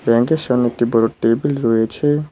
ব্যাংকের সামনে একটি বড় টেবিল রয়েছে।